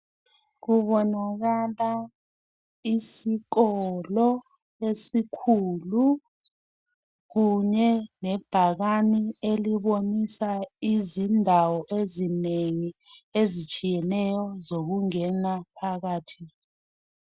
Kubonakala isikolo esikhulu ,kunye lebhakani elibonisa izindawo ezinengi. Ezitshiyeneyo zokungena phakathi.